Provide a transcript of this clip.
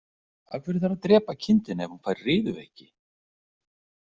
Af hverju þarf að drepa kindina ef hún fær riðuveiki.